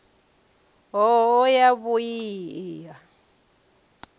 hoho ya mui i a